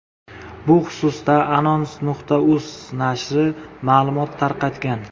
Bu xususda Anons.uz nashri ma’lumot tarqatgan .